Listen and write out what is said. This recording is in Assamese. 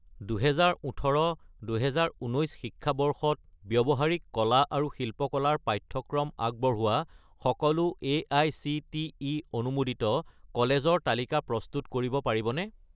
2018 - 2019 শিক্ষাবৰ্ষত ব্যৱহাৰিক কলা আৰু শিল্পকলা ৰ পাঠ্যক্ৰম আগবঢ়োৱা সকলো এআইচিটিই অনুমোদিত কলেজৰ তালিকা প্ৰস্তুত কৰিব পাৰিবনে?